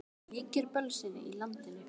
Og það ríkir bölsýni í landinu.